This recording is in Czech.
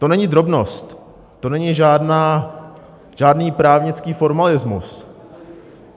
To není drobnost, to není žádný právnický formalismus.